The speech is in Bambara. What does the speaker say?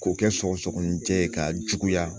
K'o kɛ sɔgɔsɔgɔnijɛ ye k'a juguya